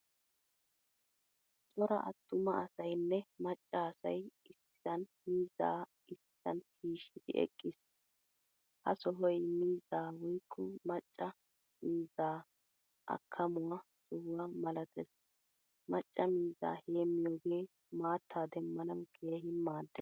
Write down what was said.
Cora attuma asaynne macca asay issisan miizza issisan shishshiidi eqqiis. Ha sohoy miizza woykko maccaa miizza akamuwaa sohuwa malatees. Macca miizzaa heemiyoge maattaa demmanawu keehin maaddees.